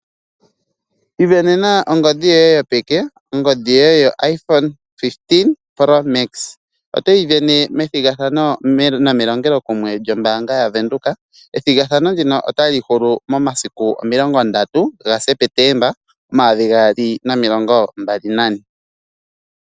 Isindanena ongodhi yoye yopeke, ongodhi ndjoka yoIphone 15. Otayi sindanwa methigathano nomelongelo kumwe lyombaanga yaVenduka. Ethigathano ndino otali hulu momasiku 30 gaSeptemba 2024.